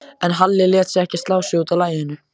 En Halli lét ekki slá sig út af laginu.